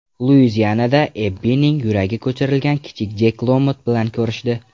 Luizianada Ebbining yuragi ko‘chirilgan kichik Jek Lomot bilan ko‘rishdi.